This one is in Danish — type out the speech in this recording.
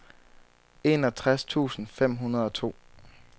enogtres tusind fem hundrede og to